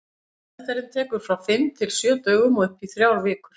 Meðferðin tekur frá fimm til sjö dögum og upp í þrjár vikur.